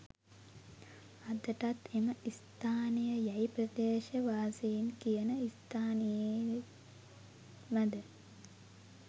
අදටත් එම ස්ථානය යැයි ප්‍රදේශවාසීන් කියන ස්ථානයේමද?